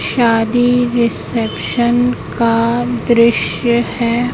शादी रिसेप्शन का दृश्य है।